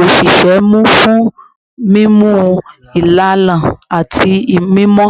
osise mu fun mimu ilana ati mimọ